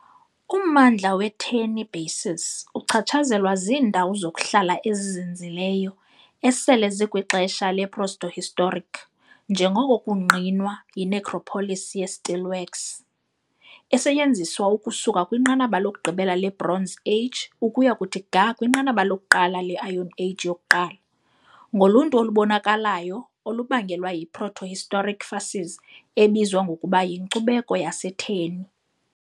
Ummandla we-Terni basin uchatshazelwa ziindawo zokuhlala ezizinzileyo esele zikwixesha leprotohistoric, njengoko kungqinwa yi-necropolis ye-Steelworks, esetyenziswa ukusuka kwinqanaba lokugqibela leBronze Age ukuya kuthi ga kwinqanaba lokuqala le-Iron Age yokuqala. ngoluntu olubonakalayo, olubangelwa yi-protohistoric "facies" ebizwa ngokuba "yiNkcubeko yaseTerni" .